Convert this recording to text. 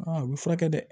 u bɛ furakɛ dɛ